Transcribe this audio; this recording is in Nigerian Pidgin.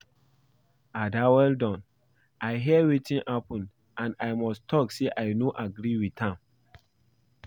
Ada well don, I hear wetin happen and I must talk say I no agree with am